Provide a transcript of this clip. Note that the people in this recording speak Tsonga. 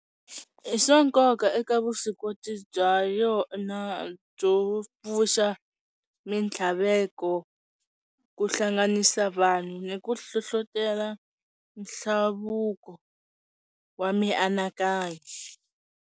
I swa nkoka eka vuswikoti bya yona byo pfuxa mitlhaveko, ku hlanganisa vanhu ni ku hlohlotelo nhlavuko wa mianakanyo.